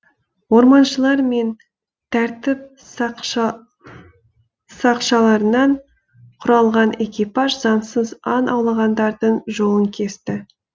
орманшылар мен тәртіп сақшалырынан құралған экипаж заңсыз аң аулағандардың жолын кесті